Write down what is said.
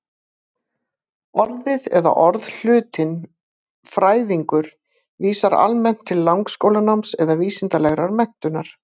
Orðið eða orðhlutinn-fræðingur vísar almennt til langskólanáms eða vísindalegrar menntunar.